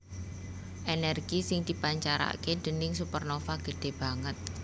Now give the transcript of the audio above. Ènèrgi sing dipancaraké déning supernova gedhé banget